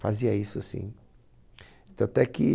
Fazia isso assim. Tanto é que